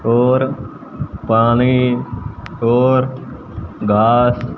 और पानी और घास--